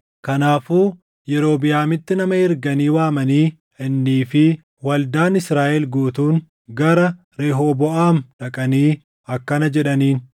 Kanaafuu Yerobiʼaamitti nama erganii waamanii, innii fi waldaan Israaʼel guutuun gara Rehooboʼaam dhaqanii akkana jedhaniin: